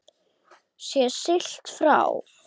Sé siglt frá